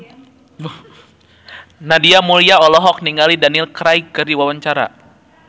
Nadia Mulya olohok ningali Daniel Craig keur diwawancara